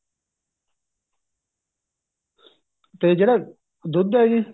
ਤੇ ਜਿਹੜਾ ਦੁੱਧ ਐ ਜੀ